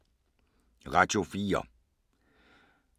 Radio 4